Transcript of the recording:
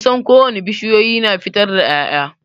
Kusan ko wane bishiyoyi na fitar da ya'ya.